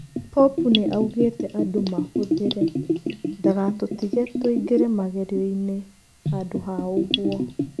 Pũpu nĩ augĩte andũmahũthĩre. Ndũgatũtige tũingĩre mageriininĩ handũha ũguo.